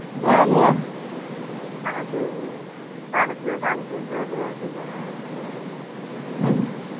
படதுல காட்காரது அது வேர